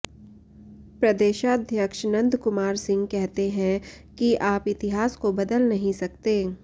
प्रदेशाध्यक्ष नंदकुमार सिंह कहते हैं कि आप इतिहास को बदल नहीं सकते